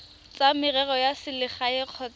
tsa merero ya selegae kgotsa